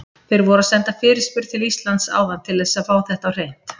Þeir voru að senda fyrirspurn til Íslands áðan til þess að fá þetta á hreint.